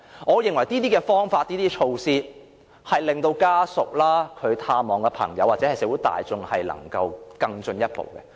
我認為這些方法和措施有助家屬、朋友或社會大眾探望時，情況可更進一步。